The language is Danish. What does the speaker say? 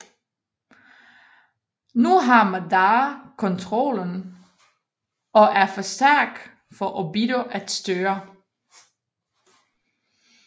Nu har Madara kontrollen og er for stærk for Obito at styre